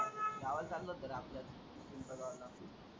गावाला चाललो जरा आपल्या पिंपळगावला.